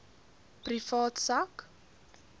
privaat sak